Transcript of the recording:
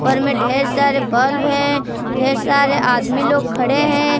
उपर में ढेर सारे बल्ब है ढेर सारे आदमी लोग खड़े हैं।